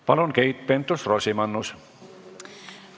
Palun, Keit Pentus-Rosimannus!